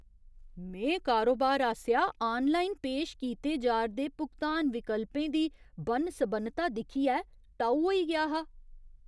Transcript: में कारोबार आसेआ आनलाइन पेश कीते जा'रदे भुगतान विकल्पें दी बन्न सबन्नता दिक्खियै टऊ होई गेआ हा।